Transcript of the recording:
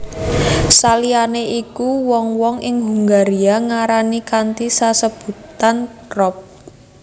Saliyané iku wong wong ing Hungaria ngarani kanthi sesebutan rop